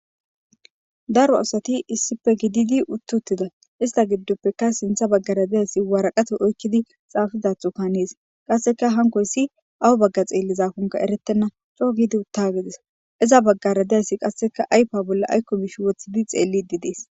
Daro asati issippe shiqidi utti uttida ista gidoppeka sintha bagara dizaysi waraqata oyki uttides waraqata oykidi xafizathoka hanes qaseka onkoysi awa baga xelizakoka eretena co'u gidi utta gides iza bagara dizaysi ayfiya bolla ayko mishi wothidi xelidi des